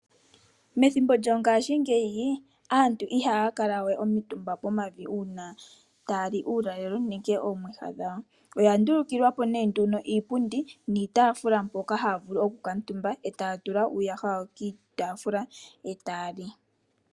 Methimbo lyongashingeyi aantu ihaya kala we omitumba pomavi uuna taya li uulalelo nenge oomwiha dhawo, oya ndulukilwa po nee nduno iipundi niitaafula mbyoka haya vulu okukaatumba e taya tula uuyaha wawo kiitaafula, e taya li.